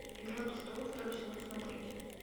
игра престолов второй сезон смотреть